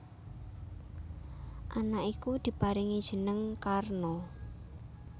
Anak iku diparingi jeneng Karna